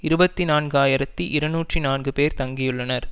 இருபத்தி நான்கு ஆயிரத்தி இருநூற்றி நான்கு பேர் தங்கியுள்ளனர்